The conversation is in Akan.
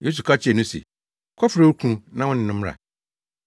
Yesu ka kyerɛɛ no se, “Kɔfrɛ wo kunu na wo ne no mmra.”